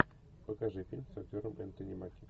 покажи фильм с актером энтони маки